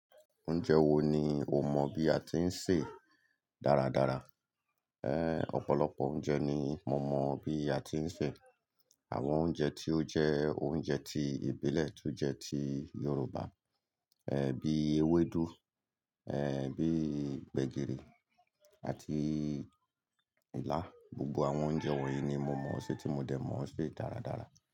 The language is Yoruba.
Oúnjẹ wo ni o mọ bí a ti ń sè dáradára? Ọ̀pọ̀lọpọ̀ oúnjẹ ni mo mọ bí a ti ń sè, àwọn oúnjẹ tí ó jẹ́ oúnjẹ ti ìbílẹ̀ tí ó jẹ́ ti Yorùbá, bí i ewédú, bí i gbẹ̀gìrì àti ilá. Gbogbo àwọn oúnjẹ wọ̀nyí ni mo mọ̀ ọ́n ṣe tí mo dẹ̀ mọ̀ ọ́n ṣe dáradára.